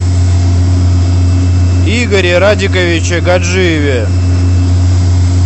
игоре радиковиче гаджиеве